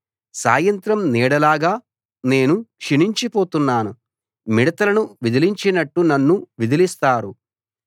సాయంత్రం నీడలాగా నేను క్షీణించిపోతున్నాను మిడతలను విదిలించినట్టు నన్ను విదిలిస్తారు